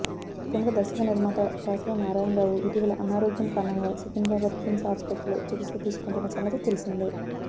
ప్రముఖ దర్శక నిర్మాత దాసరి నారాయణరావు ఇటీవల అనారోగ్యం కారణంగా సికింద్రాబాద్ కిమ్స్ ఆసుపత్రిలో చికిత్స తీసుకుంటున్న సంగతి తెలిసిందే